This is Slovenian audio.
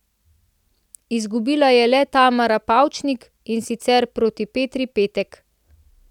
Izgubila je le Tamara Pavčnik, in sicer proti Petri Petek.